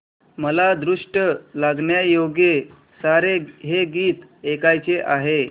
मला दृष्ट लागण्याजोगे सारे हे गीत ऐकायचे आहे